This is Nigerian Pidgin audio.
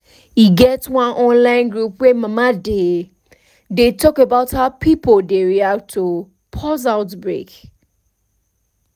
e get one online group wey mama dey dey talk about how pipo dey react to pause outbreak